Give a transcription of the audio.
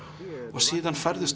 og síðan færðu